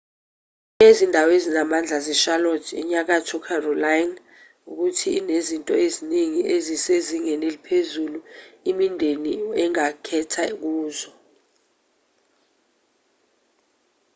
enye yezindawo ezinamandla zecharlotte enyakatho carolina ukuthi inezinto eziningi ezisezingeni eliphezulu imindeni engakhetha kuzo